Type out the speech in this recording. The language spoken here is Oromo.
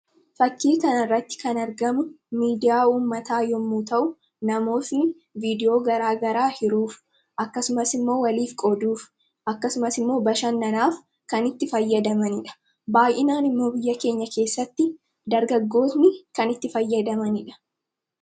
Fakkii kanarratti kan argamu miidiyaa uumataa yommuu ta'u namootni viidiyoo garaagaraa hiruuf akkasumas immoo waliif qooduuf akkasumas immoo bashannanaaf kan itti fayyadamanidha. Baay'inaan immoo biyya keenya keessatti dargaggoonni kan itti fayyadamanidha.